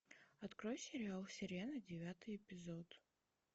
открой сериал сирена девятый эпизод